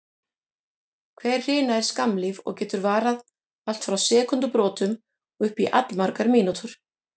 Hver hrina er skammlíf og getur varað allt frá sekúndubrotum og upp í allmargar mínútur.